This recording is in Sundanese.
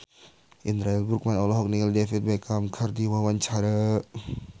Indra L. Bruggman olohok ningali David Beckham keur diwawancara